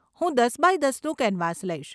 હું દસ બાય દસનું કેનવાસ લઈશ.